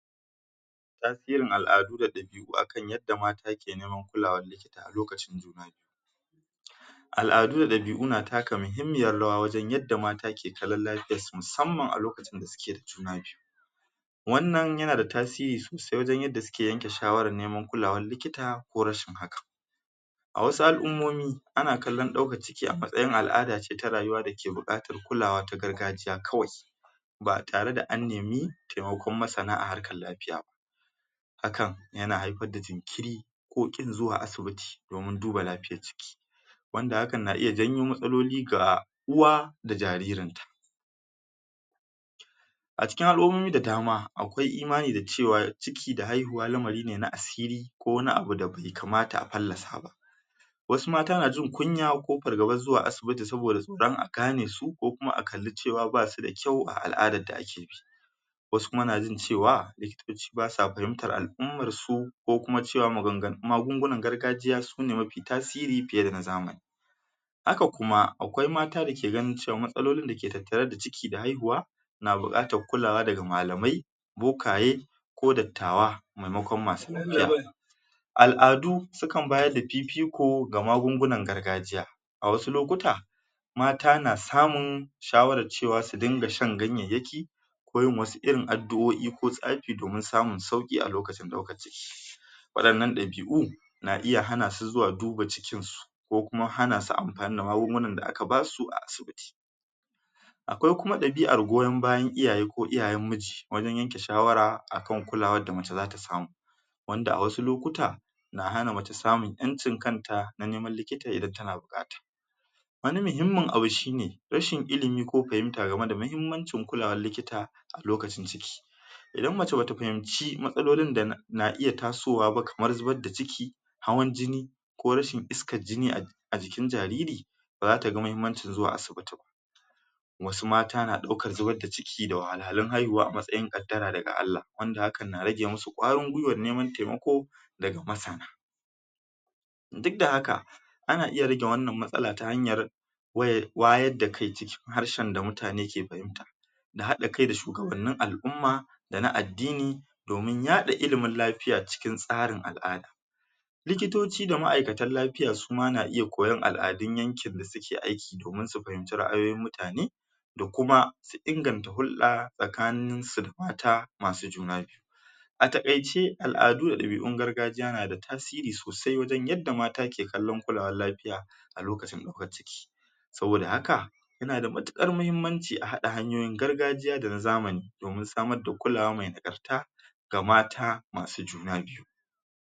Wasu irin al'adu da labi'u akan irin yadda mata ke neman kulawa Al'adu da labi'u suna taka muhimmiyar rawar wajen yadda mata ke kallon lafiyarsu musamman a lokacin da suke da juna biyu. Wannan yana da tasiri sosai wajen yadda suke neman kulawan likita ko rashin hakan. A wasu al'ummomi ana kallon ɗaukan ciki a matsayin al'ada ce ta rayuwa dake buƙatar kulawa ta al'ada ce kawai, ba tare da an nemi taimakon masana a harkan lafiya ba. Hakan yana haifar da jinkiri, ko ƙin zuwa asibiti domin duba lafiyar jiki, wanda hakan na iya janyo matsaloli ga uwa da jaririn. A cikin al'ummomi da dama akwai imani da dama cewa ciki da haihuwa lamari ne na asiri, ko wani abu da bai kamata a fallasa ba.. Wasu mata na jin kunya ko fargaban zuwa asibiti saboda tsoron a gane su ko kuma a kalle ba su da kyau a al'adar da akeyi Wasu kuma na iya cewa likitoci ba sa fahimtar al'ummar su ko kuma cewa maganganun magungunan gargajiya sune mafi tasiri fiye da na zamani, haka kuma akwqai matan da suke ganin cewa matsalolin da suke tattare da haihuwa na buƙatar kulawa ndaga malamai, bokaye, ko dattawa maimakon masu lafiya. Al'adu siukan bayar da fififko ga magungunan gargajiya, a wasu lokutra mata na samun shawar cewa su dinga shan ganyayyaki, ko yin irin wasu addu'o'i ko tsafi domin samin sauƙi a lokiutan ɗaukan ciki. Waɗannan ɗabi'u na iya hana su zuwa duba cikin su ko kuma hana siu amfani da magungunan da aka basu a asibiti. Akwai kuma ɗabi'ar goyon bayan iuyaye ko iyayen miji, wajen yanke shawara akan kulawar da mace za ta samu, wanda a wasu lokuta suna hana mace samun 'yancin kanta na ne, man likita idan tana buƙata. Wani muhimmin abu shine, rashin ilimi ko fahimta ga me da mahimmancin kulawar likita, a lokacin ciki, Idan ,mace bata fahimci matsalolin da na iya tasowa ba kamar zubar da ciki, hawan jini, ko rashin iskad jini a a jikin jariri ba za ta ga muhimmancin zuwa asibiti ba. Wasu mata na ɗaukan zubar da ciki da wahalhalun haihuwa a matsayin ƙaddara daga Allah wanda hakan na rage musu Vwarin gwiwar neman taimako daga masana. Duk da haka, ana iya rage wannan matsala ta hanyar wayarda kai cikin harshen da mutane ke fahimta. A haɗa kai da su kaman na a'umma da na addini domin yaɗa ilimin lafiya cikin tsarin al'ada, Likitoci da ma'aikatan lafiya suma na iya koyan al'adun yankin da suke aiki domin su fahimci ra'ayoyin mutane da kuma su inganta hurɗa tsakanin su da mata masu juna biyu. A taƙaice, al'adu da ɗabi'un gargajiya suna da tasiri sosai ta wajen yadda mata ke kallon kulawar lafiya a lokacin ɗaukan ciki. Saboda haka yana da matuƙar mahimmanci a haɗa hanyoyin gargajiya da na zamani domin samar da kulawa mai nagarta, ga mata masu juna biyu.